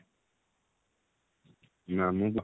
ମାମୁଁ ପୁଅ